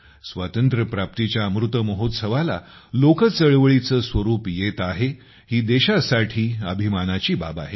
स्वातंत्र्यप्राप्तीच्या अमृत महोत्सवाला लोक चळवळीचे स्वरूप येते आहे ही देशासाठी अभिमानाची बाब आहे